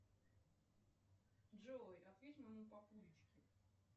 джой ответь моему папулечке